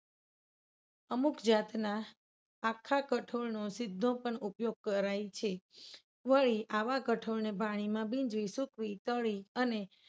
અમુક જાતના આખા કઠોળનો સીધો પણ ઉપયોગ કરાય છે. વળી આવા કઠોળને પાણીમાં ભીંજવી, સૂકવી, તળી અને